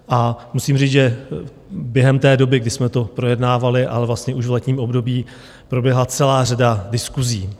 A musím říct, že během té doby, kdy jsme to projednávali, ale vlastně už v letním období, proběhla celá řada diskusí.